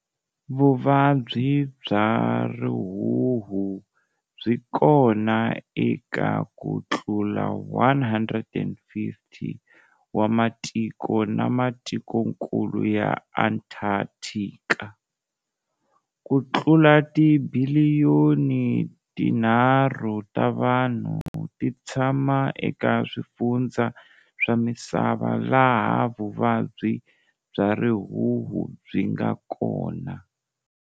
Vuvabyi bya rihuhu byi kona eka ku tlula 150 wa matiko na matikonkulu ya Antartika. Ku tlula tibiliyoni tinharhu ta vanhu ti tshama eka swifundza swa misava laha vuvabyi bya rihuhu byi nga kona.